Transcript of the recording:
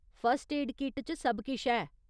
First aid kit च सब किश है।